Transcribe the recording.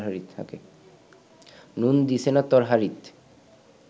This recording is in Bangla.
নুন দিছে না তরহারিত